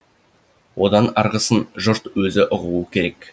одан арғысын жұрт өзі ұғуы керек